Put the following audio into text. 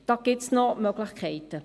da gibt es noch Möglichkeiten.